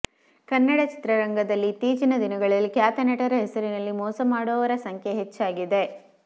ಕನ್ನಡ ಚಿತ್ರರಂಗದಲ್ಲಿ ಇತ್ತೀಚಿನ ದಿನಗಳಲ್ಲಿ ಖ್ಯಾತ ನಟರ ಹೆಸರಿನಲ್ಲಿ ಮೋಸ ಮಾಡುವವರ ಸಂಖ್ಯೆ ಹೆಚ್ಚಾಗಿದೆ